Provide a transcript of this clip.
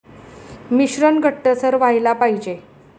मिश्रण घट्टसर व्हायला पाहिजे.